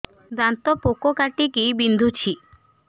ଦାନ୍ତ ପୋକ କାଟିକି ବିନ୍ଧୁଛି